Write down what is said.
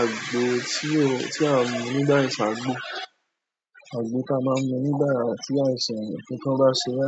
Àgbo tí o, tí a mu nígbà ìṣàgbò, àgbo tí a máa ń mu nígbà tí àìsàn yẹn kíkan bá ṣeré,